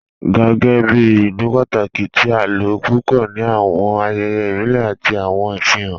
Gàngàn jẹ̀ ìlú pátàkí tì à ló púpọ̀ ní awọn ayẹyẹ ibìlẹ̀ àti awọn ìfihàn.